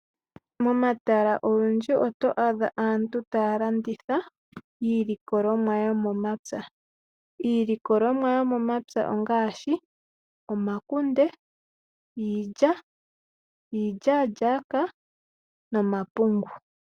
Momatala ogendji oto adha aantu taya landitha. Iilikolomwa yomomapya iilikolomwa yomomapya ongaashi omakunde, iilya, iilyalyaka nomapungu.